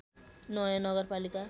नयाँ नगरपालिका